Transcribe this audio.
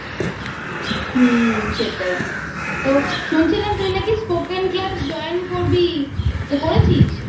হুম সেটাই তো শুনছিলাম তুই নাকি Spoken class join করবি তা করেছিস?